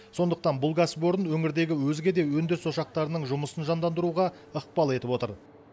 сондықтан бұл кәсіпорын өңірдегі өзге де өндіріс ошақтарының жұмысын жандандыруға ықпал етіп отыр